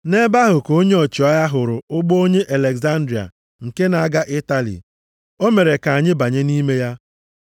Nʼebe ahụ ka onye ọchịagha hụrụ ụgbọ onye Alegzandria nke na-aga Itali. O mere ka anyị banye nʼime ya.